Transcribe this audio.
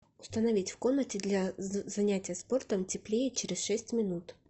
установить в комнате для занятия спортом теплее через шесть минут